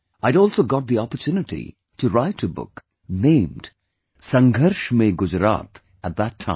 I had also got the opportunity to write a book named 'Sangharsh Mein Gujarat' at that time